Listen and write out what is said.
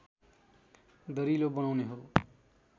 दरिलो बनाउने हो